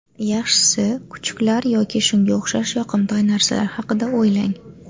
Yaxshisi, kuchukchalar yoki shunga o‘xshash yoqimtoy narsalar haqida o‘ylang.